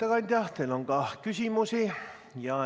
Hea ettekandja, teile on ka küsimusi.